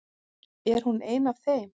Er hún ein af þeim?